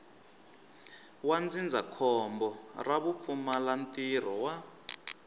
wa ndzindzakhombo ra vupfumalantirho wa